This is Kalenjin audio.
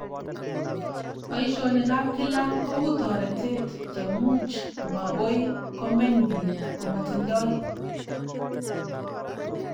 Boishonik ab kila kou toretet chemuch makoi komeny biik komatindoi